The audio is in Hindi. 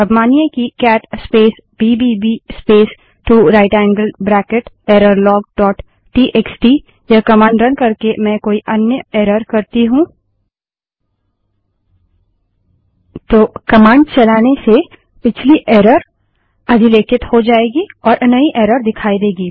अब मानिए कि cat space BBB space two right angled bracket error log dot TXT cat space BBB space 2 right angled bracket errorlogटीएक्सटी यह कमांड रन करके मैं कोई अन्य एरर करती हूँ तो कमांड चलाने से पिछली एरर अधिलेखित हो जायेगी और नई एरर दिखाई देगी